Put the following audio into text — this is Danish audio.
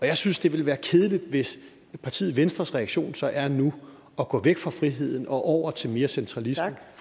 jeg synes det ville være kedeligt hvis partiet venstres reaktion så er nu at gå væk fra friheden og over til mere centralisme